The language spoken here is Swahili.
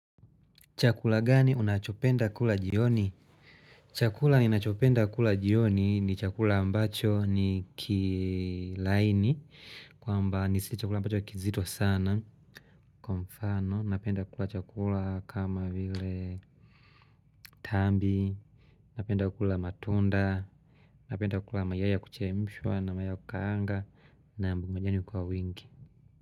Chakula gani unachopenda kula jioni? Chakula ninachopenda kula jioni ni chakula ambacho ni kilaini kwamba ni si chakula ambacho kizito sana Kwa mfano napenda kula chakula kama vile tambi Napenda kula matunda Napenda kula mayai ya kuchemshwa na mayai ya kukaanga Nam na majani kwa wingi.